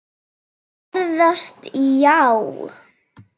Ferðast já.